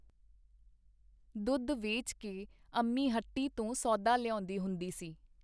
ਦੁੱਧ ਵੇਚ ਕੇ ਅੰਮੀ ਹੱਟੀ ਤੋਂ ਸੌਦਾ ਲਿਆਉਂਦੀ ਹੁੰਦੀ ਸੀ.